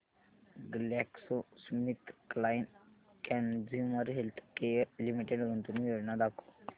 GlaxoSmithKline consumer healthcare limited गुंतवणूक योजना दाखव